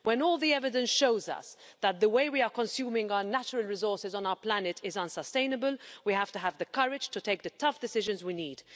When all the evidence shows us that the way we are consuming our natural resources on our planet is unsustainable, we have to have the courage to take the tough decisions we need.